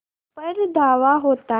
पर धावा होता है